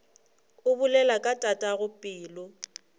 o bolela ka tatago pelo